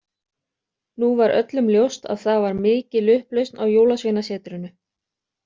Nú var öllum ljóst að það var mikil upplausn á jólasveinasetrinu.